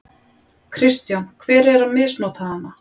Kristján: Hver er að misnota hana?